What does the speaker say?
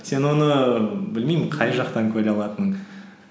сен оны білмеймін қай жақтан көре алатының